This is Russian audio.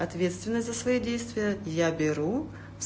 ответственность за свои действия я беру